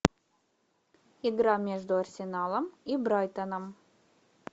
игра между арсеналом и брайтоном